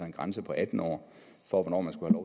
en grænse på atten år for hvornår man skulle